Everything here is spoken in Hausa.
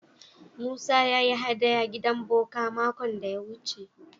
Musa ya yi haɗaya gidan boka makon da ya wuce.